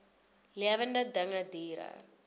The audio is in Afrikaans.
lewende dinge diere